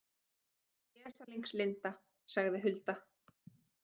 Vesalings Linda, sagði Hulda.